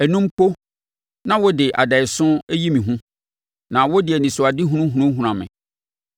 ɛno mpo na wode adaeɛso yi me hu na wode anisoadehunu hunahuna me,